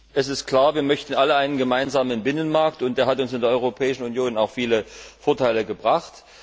Es ist klar, wir möchten alle einen gemeinsamen Binnenmarkt, und der hat uns in der Europäischen Union auch viele Vorteile gebracht.